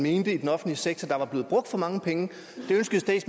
i den offentlige sektor der var blevet brugt for mange penge